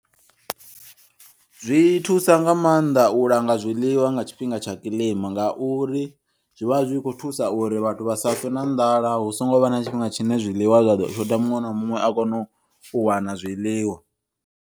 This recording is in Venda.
Zwi thusa nga maanḓa u langa zwiḽiwa nga tshifhinga tsha kiḽima ngauri zwivha zwi kho thusa uri vhathu vha safe na nḓala husongo vha na tshifhinga tshine zwiḽiwa zwa ḓo shotha muṅwe na muṅwe a kono u wana zwiḽiwa.